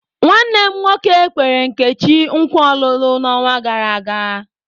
Nwanne m nwoke nkwere Nkechi nkwa olulu n'ọnwa gara aga.